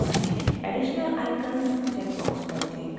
additional icons checkbox पर click करें